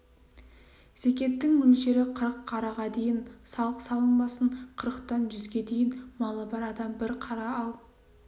зекеттің мөлшері қырық қараға дейін салық салынбасын қырықтан жүзге дейін малы бар адам бір қара ал